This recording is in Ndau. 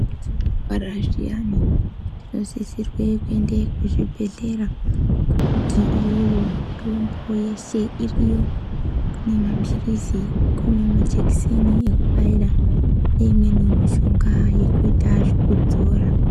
Petinorwara zviyani tinosisirwe kuende kuzvibhedhlera ngokuti iyoyo mitombo yeshe iriyo. Kune maphirizi, kune majekiseni ekubaira, neimweni mishonga yekuita zvekudzora.